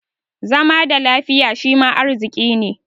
Zama da lafiya shima arziƙi ne.